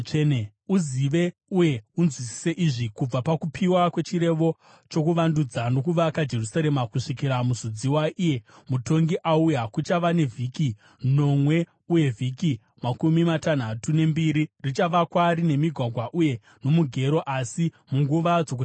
“Uzive uye unzwisise izvi: Kubva pakupiwa kwechirevo chokuvandudza nokuvaka Jerusarema kusvikira Muzodziwa, iye mutongi, auya, kuchava nevhiki nomwe uye vhiki makumi matanhatu nembiri. Richavakwa rine migwagwa uye nomugero, asi munguva dzokutambudzika.